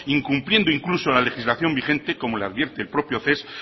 incumpliendo incluso la legislación vigente como le advierte el propio ces